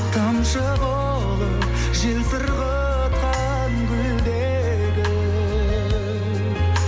тамшы болып жел сырғытқан гүлдегі